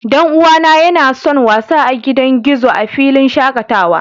Dan uwana yana son wasa a gidan gizo a filin shakatawa